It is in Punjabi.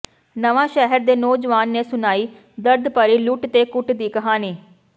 ਨਵਾਂ ਸ਼ਹਿਰ ਦੇ ਨੌਜਵਾਨ ਨੇ ਸੁਣਾਈ ਦਰਦਭਰੀ ਲੁੱਟ ਤੇ ਕੁੱਟ ਦੀ ਕਹਾਣੀ